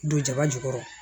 Don jaba jukɔrɔ